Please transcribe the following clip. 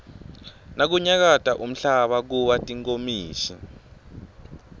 nakunyakata umhlaba kuwa tinkomishi